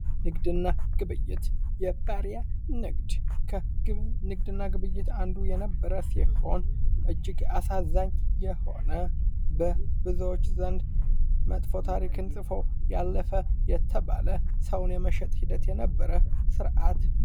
ንግድና ግብይት የባሪያ ንግድ ከንግድና ግብይት አንዱ የነበረ ሲሆን እጅግ አሳዛኝ የሆነ በብዙዎች ዘንድ መጥፎ ታሪክን ጽፎ ያለፈ የተባለ ሰውን የመሸጥ ሂደት የነበረ ስርዓት።